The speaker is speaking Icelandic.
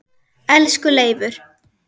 Elsku Leifur.